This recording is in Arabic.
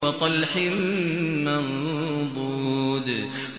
وَطَلْحٍ مَّنضُودٍ